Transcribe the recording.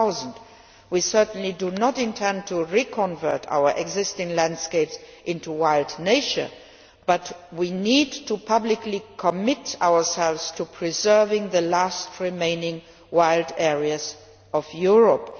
2000. We certainly do not intend to re convert our existing landscapes into wild nature, but we need to publicly commit ourselves to preserving the last remaining wild areas of Europe.